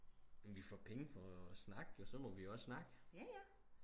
jamen vi får penge for at snakke så må vi også snakke